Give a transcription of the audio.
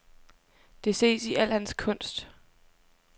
Det ses i al hans kunst.